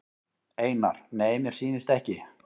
Einar: Nei mér sýnist ekki.